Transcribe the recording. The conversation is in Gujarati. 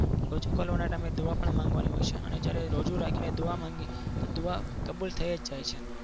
રોજો ખોલવાનો time એ દુઆ પણ માંગવાની હોય છે અને જ્યારે રોજુ રાખીને દુઆ માંગીએ તો દુઆ કબૂલ થઈ જ જાય છે.